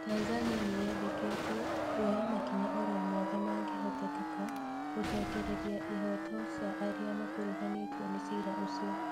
Tanzania nĩyendekĩtie "kuoya makinya oro moothe mangĩhotekeka gũcokereria ihooto cia arĩa makuruhanĩtio na cira ũcio"